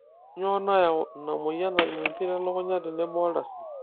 kainyioo nayau ina moyian najing impit e lukunya tenebo oldasin.